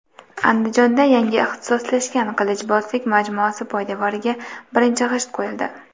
Andijonda yangi ixtisoslashgan qilichbozlik majmuasi poydevoriga birinchi g‘isht qo‘yildi.